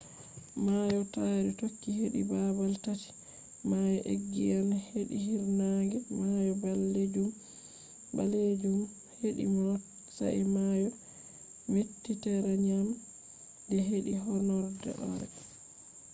mayo taari toki hedi babal tati: mayo egiyan hedi hiirnaange mayo ɓalejum hedi not sai mayo mediteraniyan hedi horɗoore